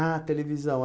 Ah, televisão.